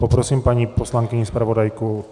Poprosím paní poslankyni zpravodajku...